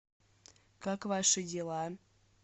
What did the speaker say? как ваши дела